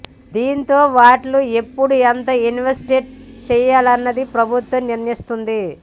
దీంతో వాటిలో ఎప్పుడు ఎంత ఇన్వెస్ట్ చేయాలన్నది ప్రభుత్వం నిర్ణయిస్తుంది